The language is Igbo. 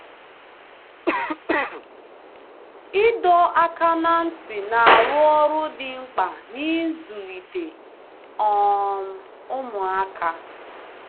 Ịdọ aka ná ntị na-arụ ọrụ dị mkpa n'ịzụlite um ụmụaka.